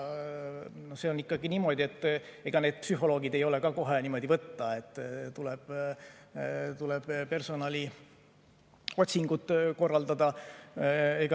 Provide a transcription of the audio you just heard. Sellega on ikkagi niimoodi, et ega neid psühholooge ei ole kohe võtta, tuleb personaliotsingud korraldada.